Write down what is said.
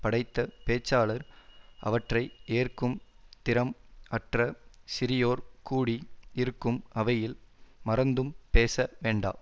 படைத்த பேச்சாளர் அவற்றை ஏற்கும் திறம் அற்ற சிறியோர் கூடி இருக்கும் அவையில் மறந்தும் பேச வேண்டா